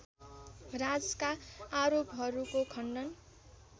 राजका आरोपहरूको खण्डन